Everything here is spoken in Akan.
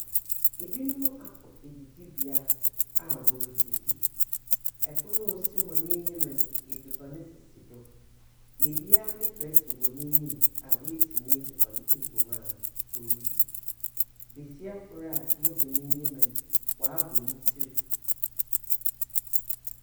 Binom akɔ edzidzi a woridzidzi, pon a osi hɔn enyim no, edziban sisi do, na obiara ne prɛtse wɔ n’enyim a woetsi n’edziban egu mu a oridzi. Basia kor a yehu n’enyim no, ɔabɔ ne tsir.